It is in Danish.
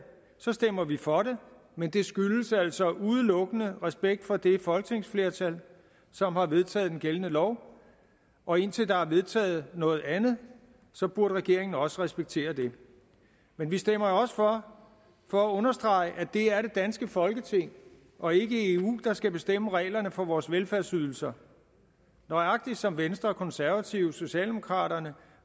stemmer vi for det men det skyldes altså udelukkende respekt for det folketingsflertal som har vedtaget den gældende lov og indtil der er vedtaget noget andet burde regeringen også respektere det men vi stemmer også for for at understrege at det er det danske folketing og ikke eu der skal bestemme reglerne for vores velfærdsydelser nøjagtig som venstre konservative socialdemokraterne